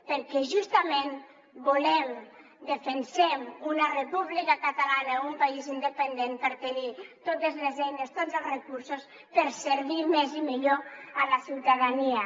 perquè justament volem defensem una república catalana un país independent per tenir totes les eines tots els recursos per servir més i millor a la ciutadania